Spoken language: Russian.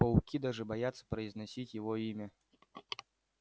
пауки даже боятся произносить его имя